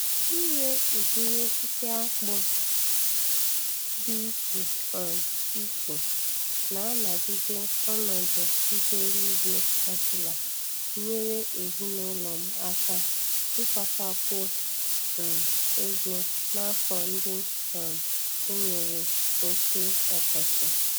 Ire ụdịrị osisi akpụ dị ịche um iche na-anagide ọnọdụ ihu eluigwe obụla nyere ezina ụlọ m aka ịkpatakwu um ego n'afọ ndị um e nwere oke ọkọchị.